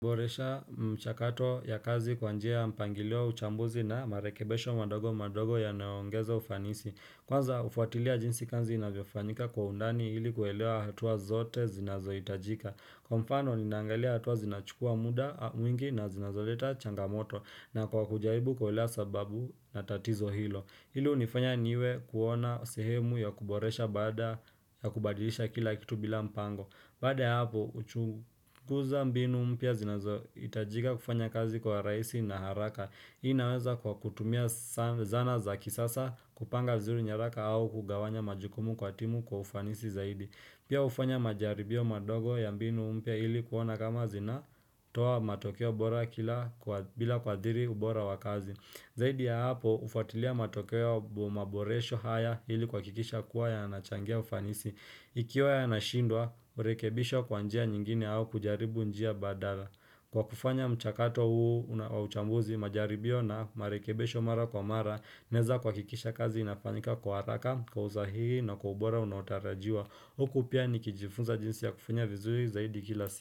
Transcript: Boresha mchakato ya kazi kwa njia ya mpangilio ya uchambuzi na marekebisho madogo madogo yanaongeza ufanisi. Kwanza hufuatilia jinsi kazi inavyofanyika kwa undani ili kuelewa hatua zote zinazohitajika. Kwa mfano ninaangalia hatua zinachukua muda mwingi na zinazoleta changamoto na kwa kujaribu kuelewa sababu na tatizo hilo. Hili hunifanya niwe kuona sehemu ya kuboresha baada ya kubadilisha kila kitu bila mpango. Baada ya hapo, huchunguza mbinu mpya zinazohitajika kufanya kazi kwa rahisi na haraka. Inaweza kwa kutumia zana za kisasa kupanga zuru nyaraka au kugawanya majukumu kwa timu kwa ufanisi zaidi. Pia hufanya majaribio madogo ya mbinu mpya ili kuona kama zinatoa matokeo bora kila bila kuathiri ubora wa kazi. Zaidi ya hapo, hufatilia matokeo maboresho haya ili kuhakikisha kuwa yanachangia ufanisi. Ikiwa yanashindwa, hurekebishwa kwa njia nyingine au kujaribu njia mbadala Kwa kufanya mchakato huu, uchambuzi majaribio na marekebesho mara kwa mara naweza kuhakikisha kazi inafanyika kwa haraka, kwa usahihi na kwa ubora unaotarajiwa Huku pia nikijifunza jinsi ya kufanya vizu zaidi kila.